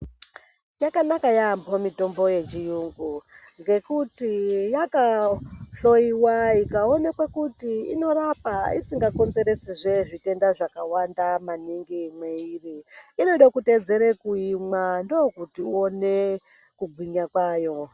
Yakanaka yamho mitombo yechirungu ngekuti yakahloyiwa ikaonekwa kuti inorapa isikakonzeresi zve zvitenda zvakawanda maningi mweiri inode kuteedzere kuimwa ndokuti uwone kugwinya kwayo .